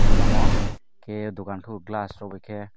o lama o ke dogak kebo glass rok bai ke.